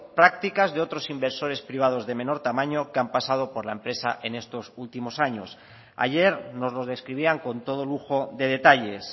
prácticas de otros inversores privados de menor tamaño que han pasado por la empresa en estos últimos años ayer nos los describían con todo lujo de detalles